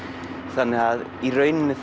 þannig að í rauninni